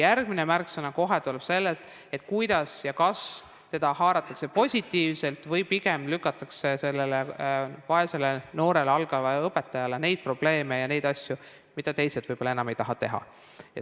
Järgmine märksõna tuleneb sellest, kas haaratakse kaasa positiivselt või pigem lükatakse selle vaese noore algava õpetaja peale neid probleeme ja neid asju, millega teised võib-olla enam ei taha tegeleda.